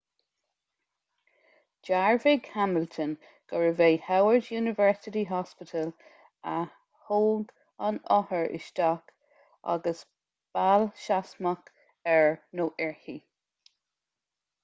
dhearbhaigh hamilton gurbh é howard university hospital a thóg an othar isteach agus bail sheasmhach air/uirthi